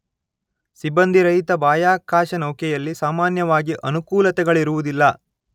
ಸಿಬ್ಬಂದಿರಹಿತ ಬಾಹ್ಯಾಕಾಶ ನೌಕೆಯಲ್ಲಿ ಸಾಮಾನ್ಯವಾಗಿ ಅನುಕೂಲತೆಗಳಿರುವುದಿಲ್ಲ